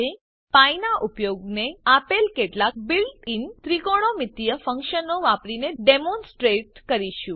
હવે આપણે પી નાં ઉપયોગને આપેલ કેટલાક બિલ્ટ ઇન ત્રિકોણમિતિય ફંક્શનો વાપરીને ડેમોનસ્ટ્રેટ કરીશું